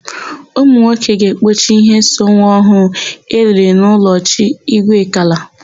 Ụmụnwoke ga-ekpochi íhé so nwa ọhụụ eliri n'ụlọ chi Igwekala.